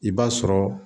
I b'a sɔrɔ